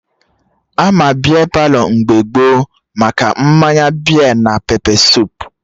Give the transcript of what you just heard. Ama Bia Palọ mgbe gboo maka mmanya bia na pepe suup